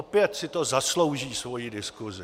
Opět si to zaslouží svoji diskusi.